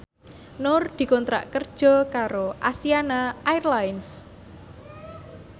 Nur dikontrak kerja karo Asiana Airlines